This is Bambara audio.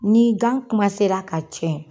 Ni gan kumasera ka tiɲɛ.